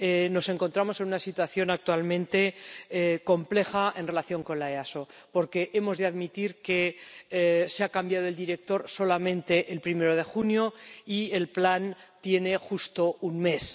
Nos encontramos en una situación actualmente compleja en relación con la EASO, porque hemos de admitir que se ha cambiado el director solamente el primero de junio y el plan tiene justo un mes.